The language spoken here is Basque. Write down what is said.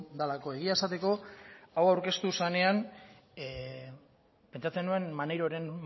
delako egia esateko hau aurkeztu zenean pentsatzen nuen maneiroren